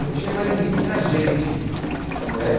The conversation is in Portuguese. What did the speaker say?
Não tinha mais ninguém, tinha gente.